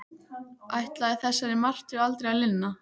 Ætlaði þessari martröð aldrei að linna?